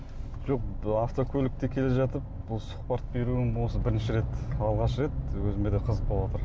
жоқ автокөлікте келе жатып бұл сұхбат беруім осы бірінші рет алғаш рет өзіме де қызық болыватыр